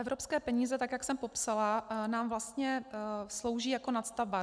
Evropské peníze, tak jak jsem popsala, nám vlastně slouží jako nadstavba.